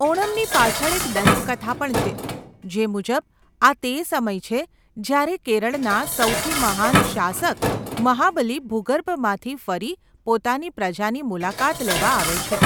ઓણમની પાછળ એક દંતકથા પણ છે, જે મુજબ, આ તે સમય છે જ્યારે કેરળના સૌથી મહાન શાસક મહાબલી ભૂગર્ભમાંથી ફરી પોતાની પ્રજાની મુલાકાત લેવા આવે છે.